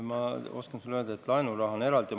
Ma oskan sulle öelda, et laenuraha on eraldi.